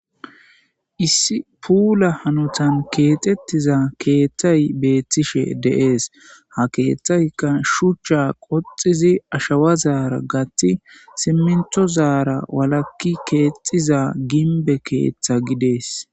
issi puula hanotan keexettiza keeththay beettishe deees ha keeththaykka shuchcha qoxizi ashawa zaara gati simmintho zaara walakki keexxiza gimbe keeththa gidees